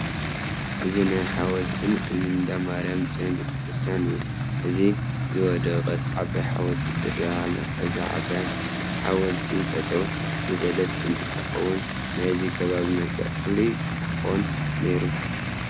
እዚ ናይ ሓወልትን እንዳማርያም ፅዮን ቤተ ክርስቲያን እዩ፡፡ እታ ዝወደቐት ዓባይ ሓወልቲ ትርአ ኣላ፡፡ እዛ ዓባይ ሓወስቲ ጠጠው ዝበለት እንተትኾነ ናይዚ ከባቢ መልክዕ ፍሉይ ክኾን ነይሩ፡፡